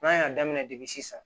N'a y'a daminɛ depi sisan